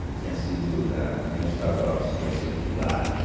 Eu tinha sido da União Estadual de Estudantes Secundários, né.